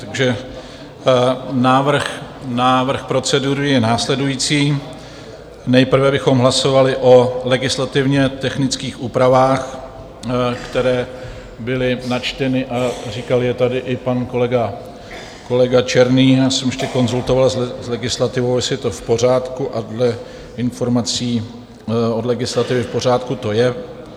Takže návrh procedury je následující: nejprve bychom hlasovali o legislativně technických úpravách, které byly načteny, a říkal je tady i pan kolega Černý - já jsem ještě konzultoval s legislativou, jestli je to v pořádku, a dle informací od legislativy v pořádku to je.